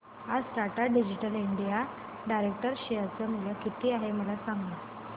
आज Tata digital India direct share चे मूल्य किती आहे मला सांगा